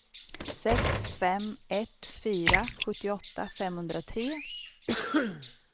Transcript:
sex fem ett fyra sjuttioåtta femhundratre